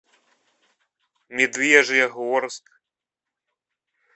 медвежьегорск